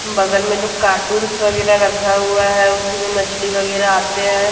बगल में जो कार्टून्स वगैरह रखा हुआ है उसी में मछली वगैरह आते हैं।